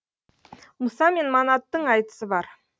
мұса мен манаттың айтысы бар